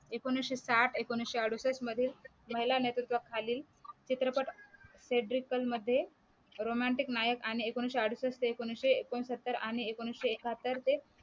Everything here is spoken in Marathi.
एकोणीशे साठ एकोणीशे अडुसष्ठ मध्ये महिला नेतृत्वाखाली चित्रपट फॅब्रिकल मध्ये रोमँटिक नायक आणि एकोणीशे अडुसष्ठ ते एकोणीशे एकोणसत्तरआणि एकोणीशे एकाहत्तर ते